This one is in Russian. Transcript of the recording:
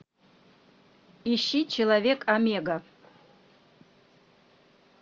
ищи человек омега